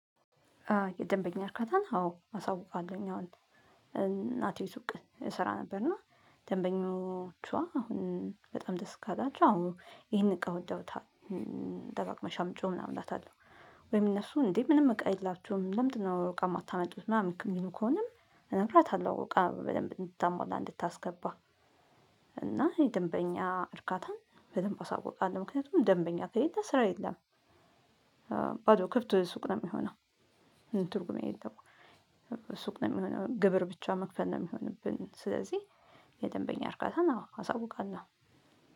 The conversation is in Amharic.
የደንበኛ አርካታን አዎ አሳውቃለሁኝ አሁን እናቴ ሱቅ እሰራ ነበር። እና አሁን በጣም ደስ ካላቸው አሁን ይሄን እቃ ወደውታ ደጋግመሽ አምጭው ምናምን እላታለሁ። ወይም እነሱ እንዴ ምንም እቃ የላችሁም ለምንድነው እቃ የማታመጡት? ምናምን የሚሉ ከሆነም እነግራታለሁ እቃ በደንብ እንድታሟላ እንድታስገባ። እና የደንበኛ እርካታን በደንብ አሳውቃለሁ ምክንያቱም ደንበኛ ከሄደ ስራ የለም። ባዶ ክርት ሱቅ ነው የሚሆነው። ትርጉም የሌለው። ሱቅ ነው የሚሆነው ግብር ብቻ መክፈል ነው የሚሆንብን። ስለዚህ የደንበኛ እርካታን አሳውቃለሁ።